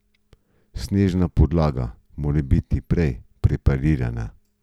Snežna podlaga mora biti prej preparirana.